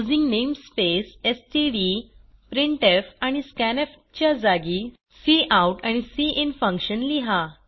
using namespace STD printf आणि scanf च्या जागी काउट आणि सिन फंक्शन लिहा